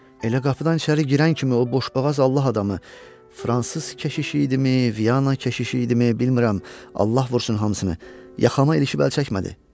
Elə qapıdan içəri girən kimi o boşboğaz Allah adamı, fransız keşişi idimi, Viyana keşişi idimi, bilmirəm, Allah vursun hamısını, yaxama ilişib əl çəkmədi.